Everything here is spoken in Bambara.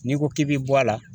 N'i ko k'i bɛ bɔ a la